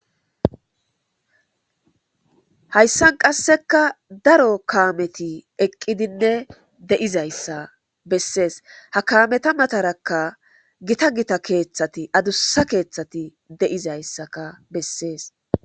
Hayssan qasseka daro kaameti eqqidinne de'izayssa bessees. ha kaameta matarakka gita gita keeththati adussa keeththati de'izayssaka bessees.